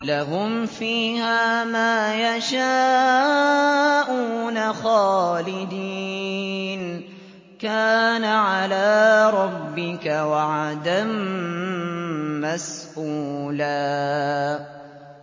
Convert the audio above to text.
لَّهُمْ فِيهَا مَا يَشَاءُونَ خَالِدِينَ ۚ كَانَ عَلَىٰ رَبِّكَ وَعْدًا مَّسْئُولًا